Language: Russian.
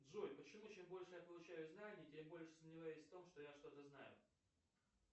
джой почему чем больше я получаю знаний тем больше сомневаюсь в том что я что то знаю